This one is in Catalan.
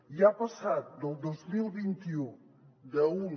i ha passat del dos mil vint u d’un